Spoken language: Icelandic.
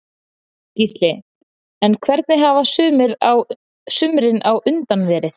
Gísli: En hvernig hafa sumrin á undan verið?